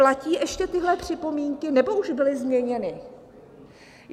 Platí ještě tyhle připomínky, nebo už byly změněny?